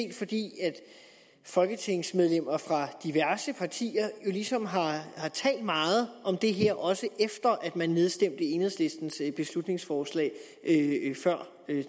folketingsmedlemmer fra diverse partier ligesom har talt meget om det her også efter at man nedstemte enhedslistens beslutningsforslag før